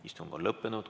Istung on lõppenud.